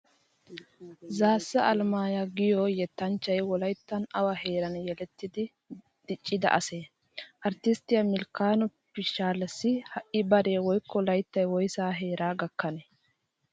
Zaassa Alamaayoy giyo yettanchchay Wolayttan awa heeran yelettidi diccida asee? Arttisttiya Milkkano Pishshaalessi ha'i baree woykko layttay woysaa heeraa gakkanee?